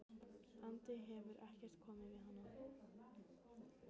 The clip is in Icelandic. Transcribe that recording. andi hefur ekkert komið fyrir hana.